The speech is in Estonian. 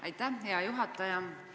Aitäh, hea juhataja!